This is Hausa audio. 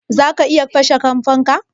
Za ka iya kashe fanka?